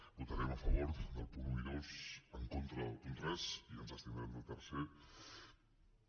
votarem a favor dels punts un i dos en contra del punt tres i ens abstindrem al quart